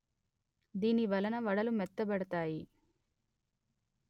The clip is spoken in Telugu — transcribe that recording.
దీనివలన వడలు మెత్తబడతాయి